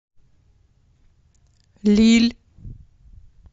лилль